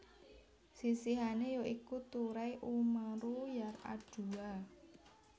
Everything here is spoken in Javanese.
Sisihané ya iku Turai Umaru Yar adua